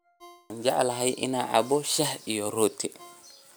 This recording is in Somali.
Waxaan jeclahay inaan cabbo shaah iyo rooti.